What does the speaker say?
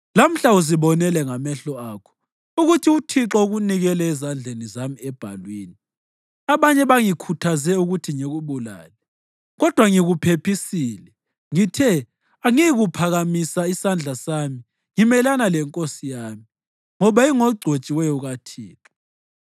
Lamhla uzibonele ngamehlo akho ukuthi uThixo ukunikele ezandleni zami ebhalwini. Abanye bangikhuthaze ukuthi ngikubulale, kodwa ngikuphephisile, ngithe, ‘Angiyikuphakamisa isandla sami ngimelana lenkosi yami, ngoba ingogcotshiweyo kaThixo.’